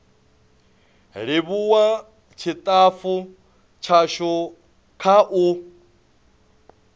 livhuwa tshitafu tshashu kha u